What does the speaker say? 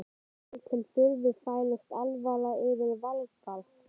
Mér til furðu færist alvara yfir Valgarð.